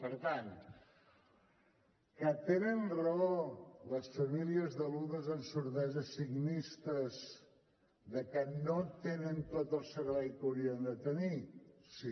per tant tenen raó les famílies de nens amb sordesa signistes de que no tenen tot el servei que haurien de tenir sí